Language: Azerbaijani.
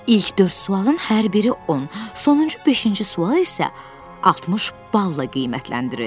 İlk dörd sualın hər biri 10, sonuncu beşinci sual isə 60 balla qiymətləndirildi.